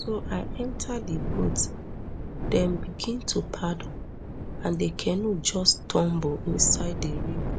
so i enta di boat dem begin to paddle and di canoe just tumble inside di river